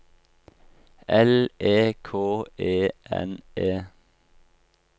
L E K E N E